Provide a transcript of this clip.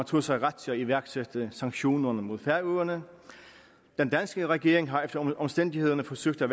tog sig ret til at iværksætte sanktionerne mod færøerne den danske regering har efter omstændighederne forsøgt at